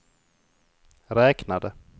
räknade